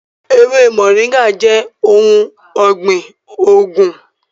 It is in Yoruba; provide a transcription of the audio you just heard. Ewe móringạ jẹ ohun ọgbin oogun.